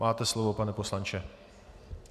Máte slovo, pane poslanče.